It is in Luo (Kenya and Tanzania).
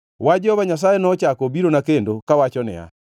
Wach Jehova Nyasaye nochako obirona kendo, kawachona niya,